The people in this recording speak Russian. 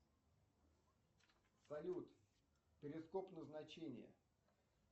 салют перископ назначение